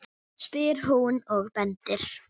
spyr hún og bendir.